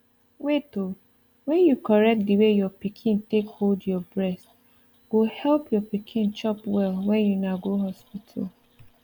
wait oh when you correct the way your pikin take hold your breast go help your pikin chop well when una go hospital